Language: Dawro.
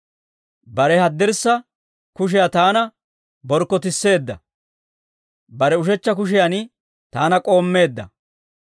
Bare haddirssa kushiyaa taana borkkotisseedda; bare ushechcha kushiyan taana k'oommeedda.